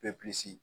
Bɛ pilisi